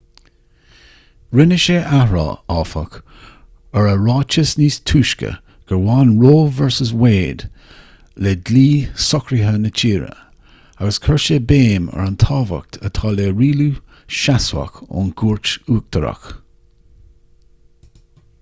rinne sé athrá áfach ar a ráiteas níos túisce gur bhain roe v wade le dlí socraithe na tíre agus chuir sé béim ar an tábhacht atá le rialú seasmhach ón gcúirt uachtarach